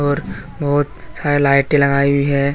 और बहुत सारी लाइटें लगाई हुई हैं।